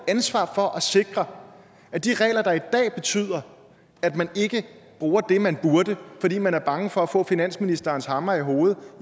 ansvar for at sikre at de regler der i dag betyder at man ikke bruger det man burde fordi man er bange for at få finansministerens hammer i hovedet